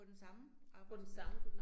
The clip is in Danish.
På den samme arbejdsplads